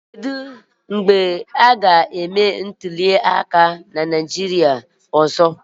Kedu mgbe a ga-eme ntuliaka Naịjirịa na-abịa?